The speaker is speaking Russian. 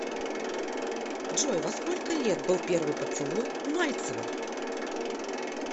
джой во сколько лет был первый поцелуй у мальцева